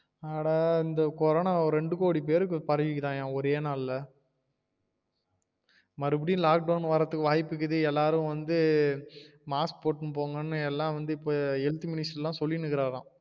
அட இந்த கொரோன ரெண்டு கோடி பேருக்கு பரவிருக்காம்யா ஒரே நாள்ல மறுபடியும் lock down வரதுக்கு வாய்ப்பு இருக்குது எல்லாரு வந்து mask போட்டு போங்கனு எல்லாம் வந்து health minister எல்லாம் சொல்லிட்டு இருக்காராம்